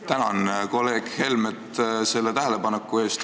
Tänan kolleeg Helmet selle tähelepaneku eest!